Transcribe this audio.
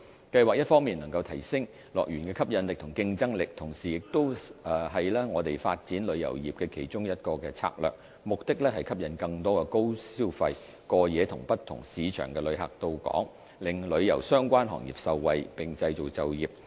計劃一方面能提升樂園的吸引力和競爭力，同時亦是我們發展旅遊業的其中一個策略，目的是吸引更多高消費、過夜及不同市場的旅客到港，令旅遊相關行業受惠，並創造就業。